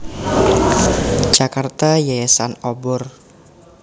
Jakarta Yayasan Obor